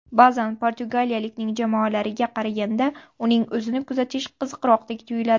Ba’zan portugaliyalikning jamoalariga qaraganda, uning o‘zini kuzatish qiziqroqdek tuyuladi.